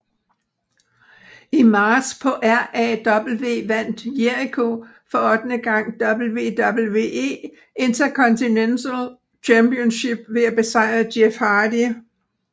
I marts på RAW vandt Jericho for ottende gang WWE Intercontinental Championship ved at besejre Jeff Hardy